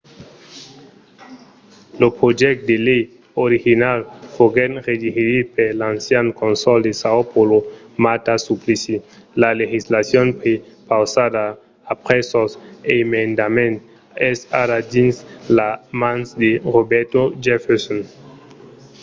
lo projècte de lei original foguèt redigit per l'ancian cònsol de são paulo marta suplicy. la legislacion prepausada après sos emendaments es ara dins las mans de roberto jefferson